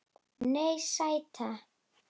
Nei, sæta.